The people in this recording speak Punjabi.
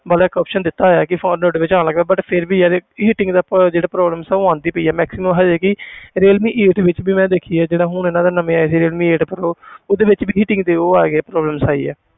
ਮਤਲਬ ਇੱਕ option ਦਿੱਤਾ ਹੋਇਆ ਕਿ phone but ਫਿਰ ਵੀ ਯਾਰ heating ਦਾ ਜਿਹੜਾ problems ਆ ਉਹ ਆਉਂਦੀ ਪਈ ਆ maximum ਹਜੇ ਵੀ ਰੀਅਲਮੀ eight ਵਿੱਚ ਵੀ ਮੈਂ ਦੇਖੀ ਹੈ ਜਿੱਦਾਂ ਹੁਣ ਇਹਨਾਂ ਦੇ ਨਵੇਂ ਆਏ ਸੀ eight pro ਉਹਦੇ ਵਿੱਚ ਵੀ heating ਦੇ ਉਹ ਆ ਗਏ problems ਆਈ ਹੈ